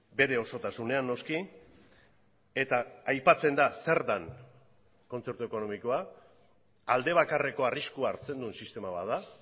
bere osotasunean noski eta aipatzen da zer den kontzertu ekonomikoa alde bakarreko arriskua hartzen duen sistema bat da